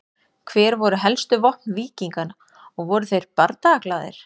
Hver voru helstu vopn víkinga og voru þeir bardagaglaðir?